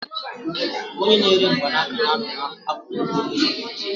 Onye na-ere mgbanaka na-anọ n'akụkụ okporo ụzọ